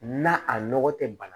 Na a nɔgɔ tɛ bana